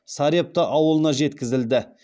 сарепта ауылына жеткізілді